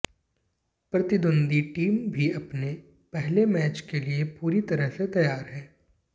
प्रतिद्वंद्वी टीम भी अपने पहले मैच के लिए पूरी तरह से तैयार है